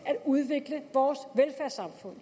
at udvikle vores velfærdssamfund